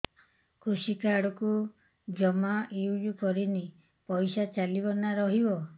କୃଷି କାର୍ଡ ମୁଁ ଜମା ୟୁଜ଼ କରିନି ପଇସା ଚାଲିଯିବ ନା ରହିବ